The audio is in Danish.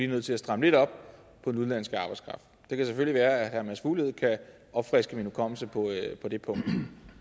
nødt til at stramme lidt op på den udenlandske arbejdskraft det kan selvfølgelig være at herre mads fuglede kan opfriske min hukommelse på det punkt men